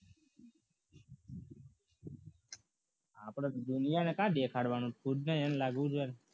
આપણે દુનિયામાં ક્યાં દેખાડવાનો છે ખુદને એમ લાગવું જોઈએ